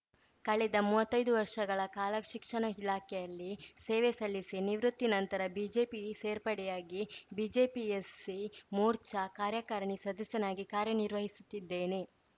ಕಳೆದ ಮುವತ್ತೈದು ವರ್ಷಗಳ ಕಾಲ ಶಿಕ್ಷಣ ಇಲಾಖೆಯಲ್ಲಿ ಸೇವೆ ಸಲ್ಲಿಸಿ ನಿವೃತ್ತಿ ನಂತರ ಬಿಜೆಪಿ ಸೇರ್ಪಡೆಯಾಗಿ ಬಿಜೆಪಿ ಎಸ್‌ಸಿ ಮೋರ್ಚಾ ಕಾರ್ಯಕಾರಣಿ ಸದಸ್ಯನಾಗಿ ಕಾರ್ಯನಿರ್ವಹಿಸುತ್ತಿದ್ದೇನೆ